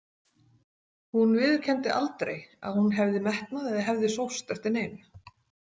Hún viðurkenndi aldrei að hún hefði metnað eða hefði sóst eftir neinu.